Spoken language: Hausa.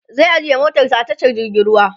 zai ajiye motarsa a tashar jirgin ruwa